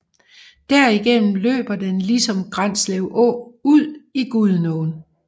Derigennem løber den ligesom Granslev Å ud i Gudenåen